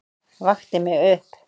Vakti mig upp.